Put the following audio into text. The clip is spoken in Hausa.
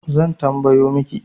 Zan tambayo miki